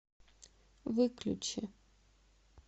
выключи